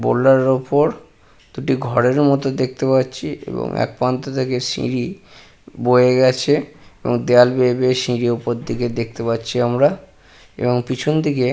Boulder এর ওপর দুটি ঘরের মতো দেখতে পাচ্ছি এবং এক প্রান্ত থেকে সিঁড়ি বয়ে গেছে এবং দেওয়াল বেয়ে উপর দিকে দেখতে পাচ্ছি আমরা এবং পিছন দিকে।